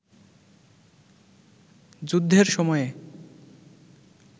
যুদ্ধের সময়ে